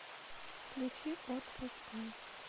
включи отпускай